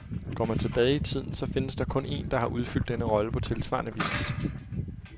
Går man tilbage i tiden, så findes der kun en, der har udfyldt denne rolle på tilsvarende vis.